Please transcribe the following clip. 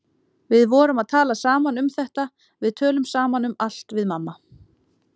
Við vorum að tala saman um þetta, við tölum saman um allt við mamma.